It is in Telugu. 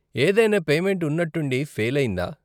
ఏదైనా పేమెంట్ ఉన్నట్టుండి ఫెయిల్ అయిందా?